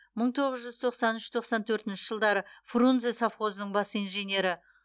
мың тоғыз жүз тоқсан үш тоқсан төртінші жылдары фрунзе совхозының бас инженері